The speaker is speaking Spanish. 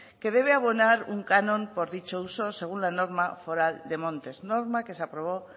que debe abonar un canon por dicho uso según la norma foral de montes norma que se aprobó